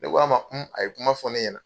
Ne ko a ma, un a ye kuma fɔ ne ɲɛna.